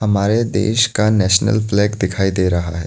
हमारे देश का नेशनल फ्लैग दिखाई दे रहा है।